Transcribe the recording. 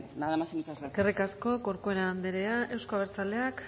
nada más y muchas gracias eskerrik asko corcuera andrea euzko abertzaleak